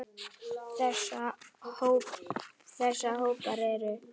Þessa hópar eru